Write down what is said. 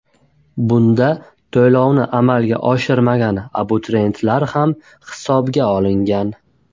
Bunda to‘lovni amalga oshirmagan abituriyentlar ham hisobga olingan.